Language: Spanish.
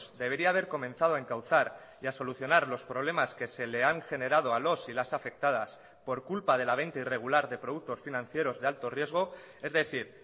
debería haber comenzado a encauzar y a solucionar los problemas que se le han generado a los y las afectadas por culpa de la venta irregular de productos financieros de alto riesgo es decir